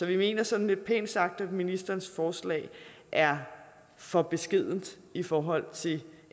vi mener sådan lidt pænt sagt at ministerens forslag er for beskedent i forhold til